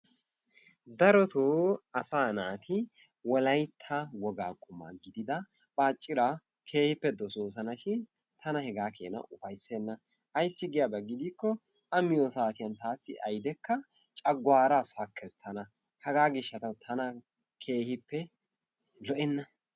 Darotto asa naati wolaytta woga quma gidida bacciraa keehippe doososona shin taana hegaakena ufayssena ayssi giyaaba keena gidiko a miyo saatiyaan taassi ayddekka cooggaara sakkees tana, haga gishshatawu tana keehippe lo"enna.